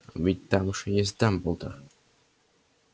ведь там же есть дамблдор